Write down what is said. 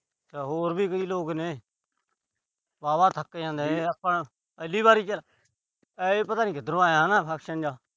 ਹੋਰ ਵੀ ਕਈ ਲੋਕ ਨੇ। ਵਾਹਵਾ ਥੱਕ ਜਾਂਦੇ ਆ ਪਹਿਲੀ ਵਾਰੀ ਚ। ਆਏ ਪਤਾ ਨੀ ਕਿਧਰੋਂ ਆਇਆ ਹਨਾ ਜਾ।